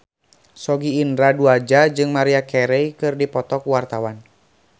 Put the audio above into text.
Sogi Indra Duaja jeung Maria Carey keur dipoto ku wartawan